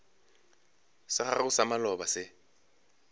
sa gago sa maloba se